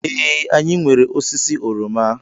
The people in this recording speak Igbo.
Ee, anyị nwere osisi oroma.